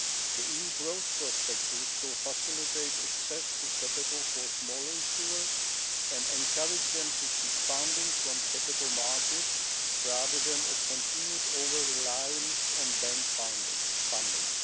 The EU growth prospectus will facilitate access to capital for small issuers and encourage them to seek funding from capital markets, rather than a continued over reliance on bank funding.